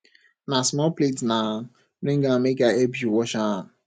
na small plate na bring am make i help you wash am